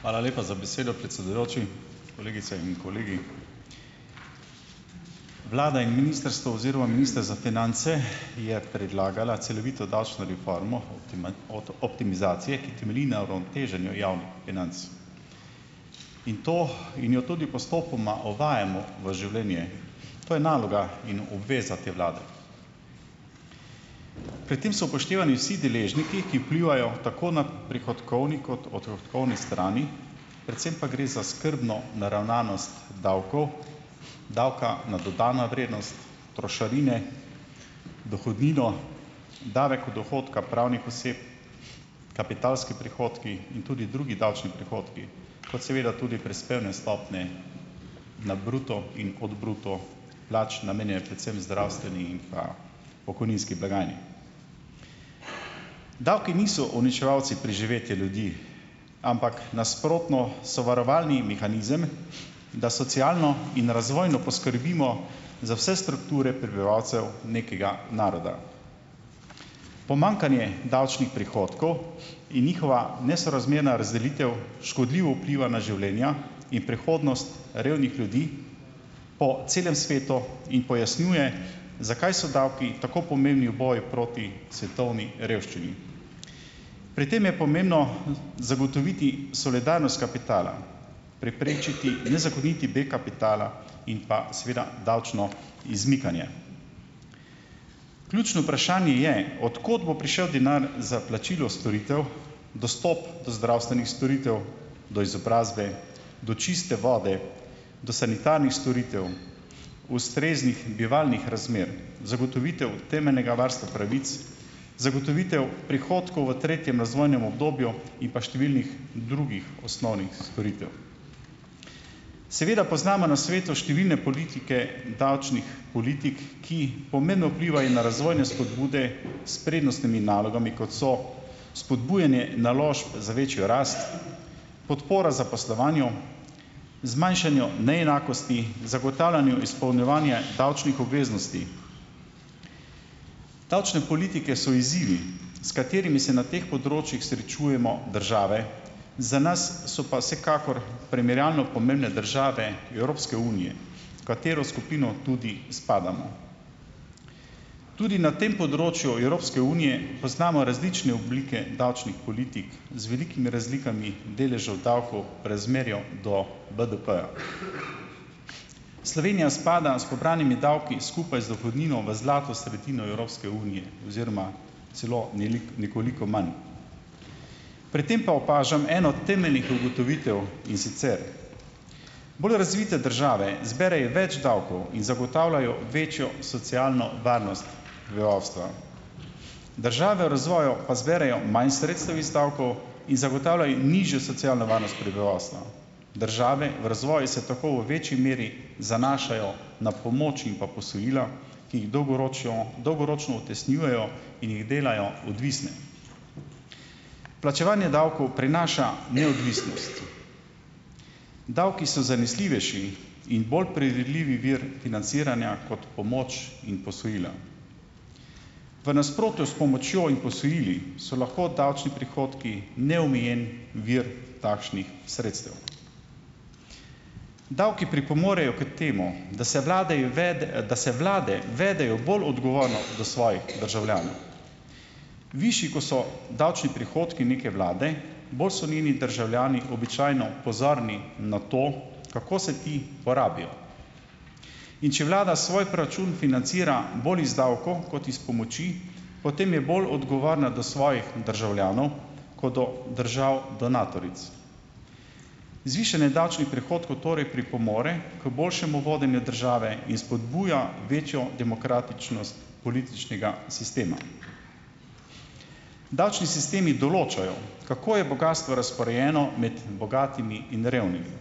Hvala lepa za besedo, predsedujoči. Kolegice in kolegi. Vlada in ministrstvo oziroma minister za finance je predlagal celovito davčno reformo optimizacije, ki temelji na uravnoteženju javnih financ. In to in jo tudi postopoma uvajamo v življenje. To je naloga in obveza te vlade. Pri tem so upoštevani vsi deležniki, ki vplivajo tako na prihodkovni kot odhodkovni strani, predvsem pa gre za skrbno naravnanost davkov, davka na dodano vrednost, trošarine, dohodnino, davek od dohodka pravnih oseb, kapitalski prihodki in tudi drugi davčni prihodki. Kot seveda tudi prispevne stopnje na bruto in od bruto plač, namenjene predvsem zdravstveni in pa pokojninski blagajni. Davki niso uničevalci preživetja ljudi. Ampak nasprotno, so varovalni mehanizem, da socialno in razvojno poskrbimo za vse strukture prebivalcev nekega naroda. Pomanjkanje davčnih prihodkov in njihova nesorazmerna razdelitev škodljivo vpliva na življenja in prihodnost revnih ljudi po celem svetu in pojasnjuje, zakaj so davki tako pomembni v boju proti svetovni revščini. Pri tem je pomembno, zagotoviti solidarnost kapitala, preprečiti nezakoniti beg kapitala in pa, seveda, davčno izmikanje. Ključno vprašanje je, od kod bo prišel denar za plačilo storitev, dostop do zdravstvenih storitev, do izobrazbe, do čiste vode, do sanitarnih storitev, ustreznih bivalnih razmer, zagotovitev temeljnega varstva pravic, zagotovitev prihodkov v tretjem razvojnem obdobju in pa številnih drugih osnovnih storitev. Seveda poznamo na svetu številne politike davčnih politik, ki pomembno vplivajo na razvojne spodbude s prednostnimi nalogami, kot so spodbujanje naložb za večjo rast, podpora zaposlovanju, zmanjšanju neenakosti, zagotavljanju izpolnjevanja davčnih obveznosti. Davčne politike so izzivi, s katerimi se na teh področjih srečujemo države, za nas so pa vsekakor primerjalno pomembne države Evropske unije, v katero skupino tudi spadamo. Tudi na tem področju Evropske unije poznamo različne oblike davčnih politik, z velikimi razlikami deležev davkov v razmerju do BDP-ja. Slovenija spada s pobranimi davki, skupaj z dohodnino, v zlato sredino Evropske unije oziroma celo nekoliko manj. Pri tem pa opažam eno temeljnih ugotovitev, in sicer bolj razvite države zberejo več davkov in zagotavljajo večjo socialno varnost prebivalstva. Države v razvoju pa zberejo manj sredstev iz davkov in zagotavljajo nižjo socialno varnost prebivalstva. Države v razvoju se tako v večji meri zanašajo na pomoč in pa posojila, ki jih dolgoročjo dolgoročno utesnjujejo in jih delajo odvisne. Plačevanje davkov prinaša neodvisnost. Davki so zanesljivejši in bolj predvidljivi vir financiranja kot pomoč in posojila. V nasprotju s pomočjo in posojili so lahko davčni prihodki neomejen vir takšnih sredstev. Davki pripomorejo k temu, da se vladeje da se vlade vedejo bolj odgovorno do svojih državljanov. Višji, ko so davčni prihodki neke vlade, bolj so njeni državljani običajno pozorni na to, kako se ti porabijo, in če vlada svoj proračun financira bolj iz davkov kot iz pomoči, potem je bolj odgovorna do svojih državljanov, kot do držav donatoric. Zvišanje davčnih prihodkov torej pripomore k boljšemu vodenju države in spodbuja večjo demokratičnost političnega sistema. Davčni sistemi določajo, kako je bogastvo razporejeno med bogatimi in revnimi.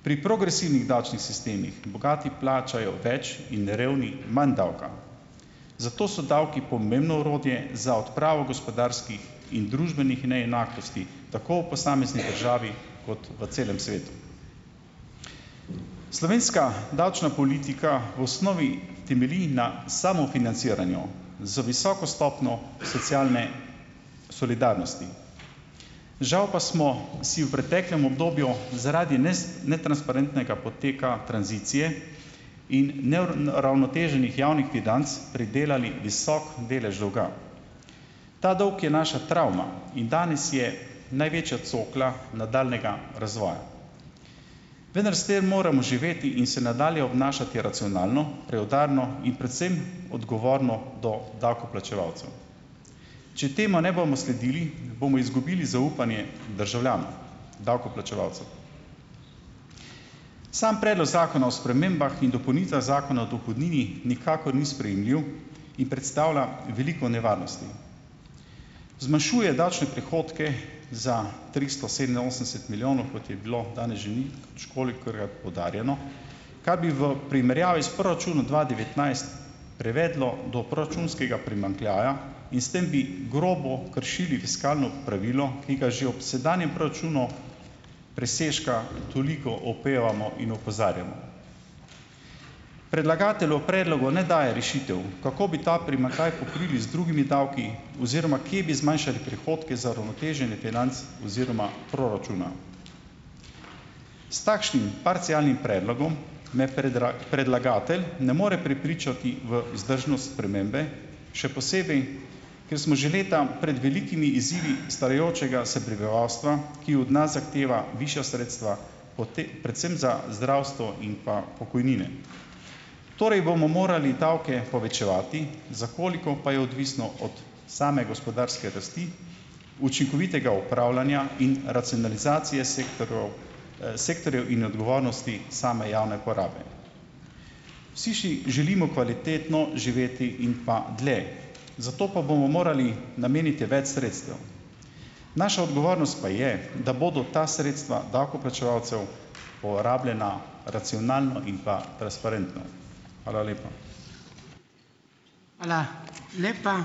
Pri progresivnih davčnih sistemih bogati plačajo več in revni manj davka, zato so davki pomembno orodje za odpravo gospodarskih in družbenih neenakosti tako v posamezni državi kot v celem svetu. Slovenska davčna politika v osnovi temelji na samofinanciranju, z visoko stopnjo socialne solidarnosti. Žal pa smo si v preteklem obdobju zaradi netransparentnega poteka tranzicije in neuravnoteženih javnih financ pridelali visok delež dolga. Ta dolg je naša travma in danes je največja cokla nadaljnjega razvoja. Vendar s tem moramo živeti in se nadalje obnašati racionalno, preudarno in predvsem, odgovorno do davkoplačevalcev. Če temu ne bomo sledili, bomo izgubili zaupanje državljanov, davkoplačevalcev. Samo predlog zakona o spremembah in dopolnitvah Zakona o dohodnini nikakor ni sprejemljiv in predstavlja veliko nevarnosti. Zmanjšuje davčne prihodke za tristo sedeminosemdeset milijonov, kot je bilo danes že poudarjeno, kar bi v primerjavi s proračunom dva devetnajst privedlo do proračunskega primanjkljaja in s tem bi grobo kršili fiskalno pravilo, ki ga že ob sedanjem proračunu presežka toliko opevamo in opozarjamo. Predlagatelj v predlogu ne daje rešitev, kako bi ta primanjkljaj pokrili z drugimi davki oziroma kje bi zmanjšali prihodke za uravnoteženje financ oziroma proračuna. S takšnim parcialnim predlogom me predlagatelj ne more prepričati v vzdržnost spremembe, še posebej ker smo že leta prej velikimi izzivi starajočega se prebivalstva, ki od nas zahteva višja sredstva predvsem za zdravstvo in pa pokojnine. Torej bomo morali davke povečevati, za koliko, pa je odvisno od same gospodarske rasti, učinkovitega upravljanja in racionalizacije sektorov, sektorjev in odgovornosti same javne porabe. Vsi še želimo kvalitetno živeti in pa dlje. Zato pa bomo morali nameniti več sredstev. Naša odgovornost pa je, da bodo ta sredstva davkoplačevalcev porabljena racionalno in pa transparentno. Hvala lepa.